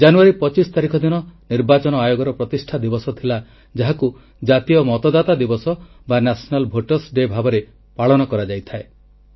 ଜାନୁୟାରୀ 2 5 ତାରିଖ ଦିନ ନିର୍ବାଚନ ଆୟୋଗର ପ୍ରତିଷ୍ଠା ଦିବସ ଥିଲା ଯାହାକୁ ଜାତୀୟ ମତଦାତା ଦିବସ ବା ନ୍ୟାସନାଲ ଭୋଟର୍ସ ଡେ ଭାବରେ ପାଳନ କରାଯାଇଥାଏ